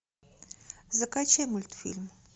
закачай мультфильм